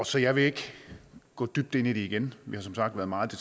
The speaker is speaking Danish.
så jeg vil ikke gå dybt ind i det igen vi har som sagt været meget i